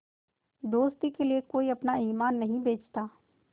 दोस्ती के लिए कोई अपना ईमान नहीं बेचता